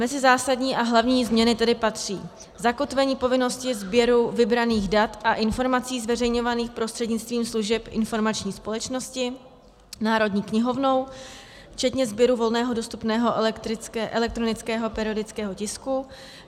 Mezi zásadní a hlavní změny tedy patří zakotvení povinnosti sběru vybraných dat a informací zveřejňovaných prostřednictvím služeb informační společnosti Národní knihovnou, včetně sběru volně dostupného elektronického periodického tisku.